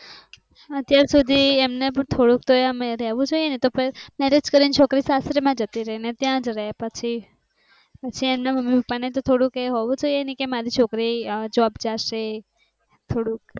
આજે સુધી એમ ને થોડું તો અમે રહેવું જોઈએ તો marriage કરી ને છોકરી સાસરી માં જતી રહી અને ત્યાં જ રહે પછી. મમ્મી પપ્પા ને થોડું હોય કે મારી છોકરી જોબ જશે.